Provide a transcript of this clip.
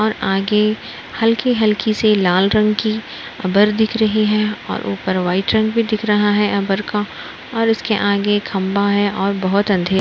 और आगे हल्की-हल्की सी लाल रंग की अबर दिख रही है और ऊपर व्हाइट रंग भी दिख रहा है अबर का और उसके आगे खंभा है और बहुत अंधे --